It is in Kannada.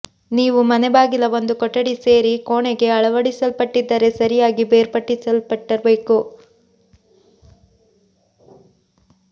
ನೀವು ಮನೆ ಬಾಗಿಲ ಒಂದು ಕೊಠಡಿ ಸೇರಿ ಕೋಣೆಗೆ ಅಳವಡಿಸಲ್ಪಟ್ಟಿದ್ದರೆ ಸರಿಯಾಗಿ ಬೇರ್ಪಡಿಸಲ್ಪಟ್ಟಿರಬೇಕು